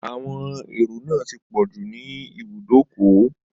Àwọn èrò náà ti pọ̀jú ní ibùdókọ̀